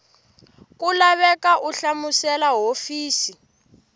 ku laveka u hlamusela hofisi